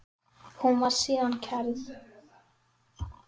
Hún var síðan kærð.